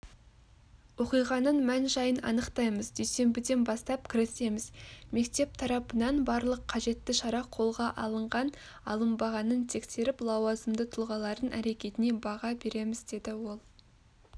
оқиғаның мән-жайын анықтаймыз дүйсенбіден бастап кірісеміз мектеп тарапынан барлық қажетті шара қолға алынған-алынбағанын тексеріп лауазымды тұлғалардың әрекетіне баға береміз деді ол